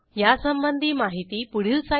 यासंबंधी माहिती पुढील साईटवर उपलब्ध आहे